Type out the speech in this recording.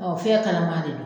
Ɔ fiɲɛ kalaman de don.